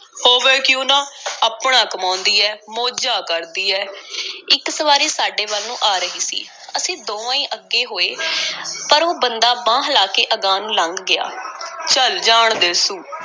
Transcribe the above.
ਹੋਵੇ ਕਿਉਂ ਨਾ, ਆਪਣਾ ਕਮਾਉਂਦੀ ਐ, ਮੌਜਾਂ ਕਰਦੀ ਐ। ਇੱਕ ਸਵਾਰੀ ਸਾਡੇ ਵੱਲ ਨੂੰ ਆ ਰਹੀ ਸੀ। ਅਸੀਂ ਦੋਵੇਂ ਈ ਅੱਗੇ ਹੋਏ, ਪਰ ਉਹ ਬੰਦਾ ਬਾਂਹ ਹਿਲਾ ਕੇ ਅਗਾਂਹ ਨੂੰ ਲੰਘ ਗਿਆ। ਚੱਲ ਜਾਣ ਦੇ ਸੂ,